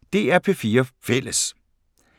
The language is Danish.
DR P4 Fælles